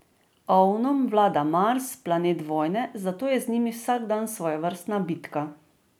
Ovnom vlada Mars, planet vojne, zato je z njimi vsak dan svojevrstna bitka.